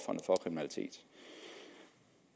kriminalitet